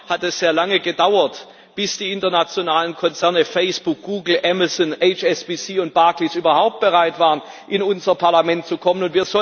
Leider hat es sehr lange gedauert, bis die internationalen Konzerne Facebook, Google, Amazon, HSBC und Barclays überhaupt bereit waren, in unser Parlament zu kommen.